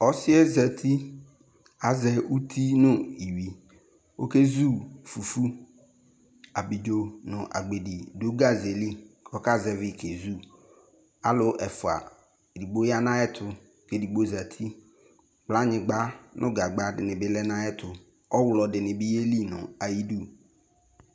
Ɔsiɛ zeti azɛ ʋti nʋ iwui ɔkɛzu fufuAbidzo nʋ agbedi ɖʋ gazeli ɔkazɛvi k'ezuAlʋ ɛfʋa, eɖigbo ya nʋ ayɛtʋ, eɖigbo zetiKlanyiba nʋ gagbaɖini bi lɛ nʋ ayɛtʋ Ɔɣlɔ ɖini bi yeli iyɖʋ